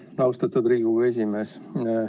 Aitäh, austatud Riigikogu esimees!